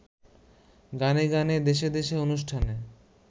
গানে গানে দেশে দেশে অনুষ্ঠানে